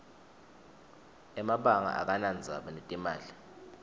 emabanga akanadzaba netimali